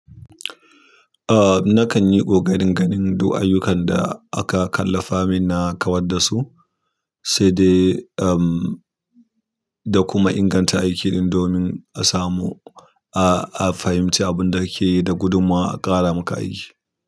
Ah nakan yi ƙoƙarin ganin duk ayyukan da aka kallafa min na kawar da su, sai dai umm da kuma inganta aiki din domin a samu a a fahimci abin da kake yi da gudummawa a ƙara maka aiki.